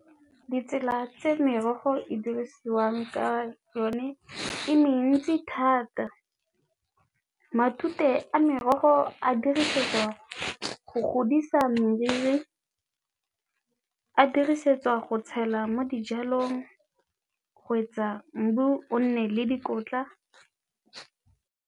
Ditsela tse merogo e dirisiwang ka yone e mentsi thata, matute a merogo a dirisetswa go godisa meriri, a dirisetswa go tshela mo dijalong go etsa o nne le dikotla.